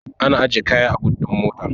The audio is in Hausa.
Ana ajiye kaya a but ɗin mota.